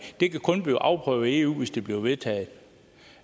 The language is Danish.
det kan kun blive afprøvet i eu hvis det bliver vedtaget